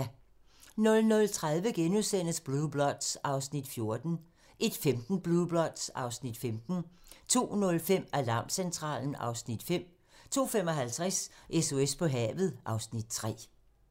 00:30: Blue Bloods (Afs. 14)* 01:15: Blue Bloods (Afs. 15) 02:05: Alarmcentralen (Afs. 5) 02:55: SOS på havet (Afs. 3)